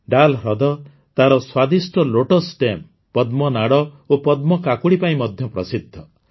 ଡାଲ୍ ହ୍ରଦ ତାର ସ୍ୱାଦିଷ୍ଟ ଲୋଟସ୍ ଷ୍ଟିମ୍ସ ପଦ୍ମ ନାଡ଼ ଓ ପଦ୍ମ କାକୁଡ଼ି ପାଇଁ ମଧ୍ୟ ପ୍ରସିଦ୍ଧ